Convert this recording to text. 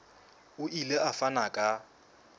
o ile a fana ka